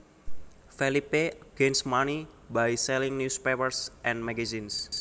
Felipe gains money by selling newspapers and magazines